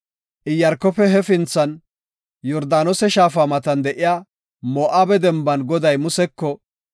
Iyaarkofe hefinthan, Yordaanose shaafa matan de7iya Moo7abe demban Goday Museko,